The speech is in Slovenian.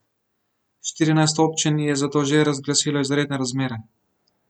Štirinajst občin je zato že razglasilo izredne razmere.